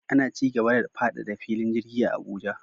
Ana cigaba da faɗaɗa filin jirgin Abuja